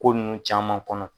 Ko nunnu caman kɔnɔ.